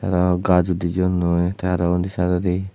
araw gaj udi jeyonnoi tay araw undi sydodi.